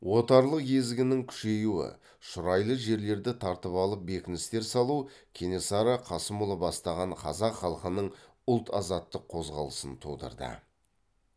отарлық езгінің күшеюі шұрайлы жерлерді тартып алып бекіністер салу кенесары қасымұлы бастаған қазақ халқының ұлт азаттық қозғалысын тудырды